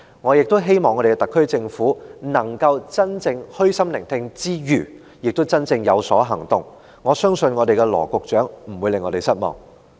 我亦希望特區政府能在虛心聆聽之餘，也真的有所行動，我相信羅局長不會令我們失望。